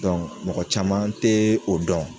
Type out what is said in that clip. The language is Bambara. mɔgɔ caman te o dɔn